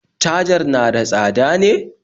cajar na da tsada ne?